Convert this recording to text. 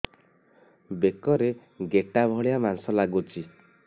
ବେକରେ ଗେଟା ଭଳିଆ ମାଂସ ଲାଗୁଚି